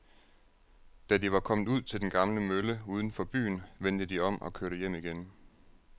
Da de var kommet ud til den gamle mølle uden for byen, vendte de om og kørte hjem igen.